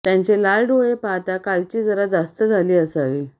त्यांचे लाल डोळे पाहता कालची जरा जास्त झाली असावी